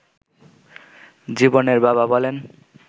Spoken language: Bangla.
জীবনের বাবা বলেন